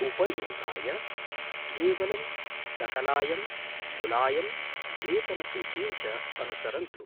उपयोगाय, केवलं सकलायं, कुलायं, वेतनसूचीं च अनुसरन्तु।